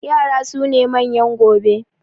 Yara su ne manyan gobe